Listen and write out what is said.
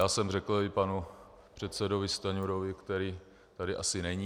Já jsem řekl i panu předsedovi Stanjurovi, který tady asi není...